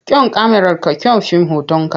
Kyan kyamararka kyan fim hotonka.